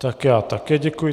Tak já také děkuji.